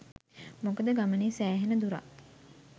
මොකද ගමනේ සෑහෙන දුරක්